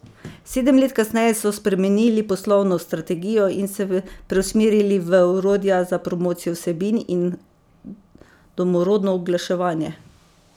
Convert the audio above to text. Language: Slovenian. Sedem let kasneje so spremenili poslovno strategijo in se preusmerili v orodja za promocijo vsebin in domorodno oglaševanje.